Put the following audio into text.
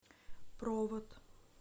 провод